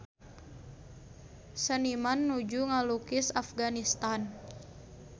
Seniman nuju ngalukis Afganistan